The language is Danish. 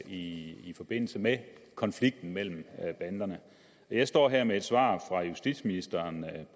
i i forbindelse med konflikten mellem banderne jeg står her med et svar fra justitsministeren